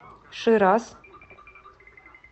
шираз